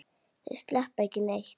Þeir sleppa ekki neitt.